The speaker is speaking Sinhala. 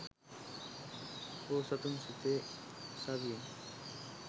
බෝසතුන් සිතේ සවියෙන්